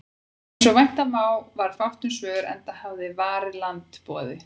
Eins og vænta mátti varð fátt um svör, enda hafnaði Varið land boði